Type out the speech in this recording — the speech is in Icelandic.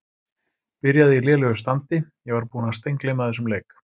Byrjaði í lélegu standi Ég var búinn að steingleyma þessum leik.